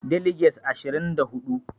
Deliges ashirin da hudu